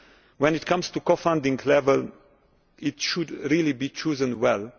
When it comes to the co funding level, it should really be chosen